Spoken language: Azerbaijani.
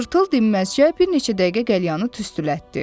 Tırtıl dinməzcə bir neçə dəqiqə qəlyanını tüstülətdi.